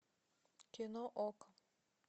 кино окко